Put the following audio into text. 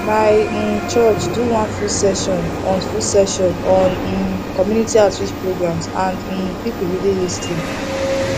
my um church do one full session on full session on um community outreach programs and um people really lis ten